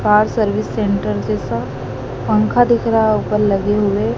car service centre जैसा पंखा दिख रहा ऊपर लगे हुए--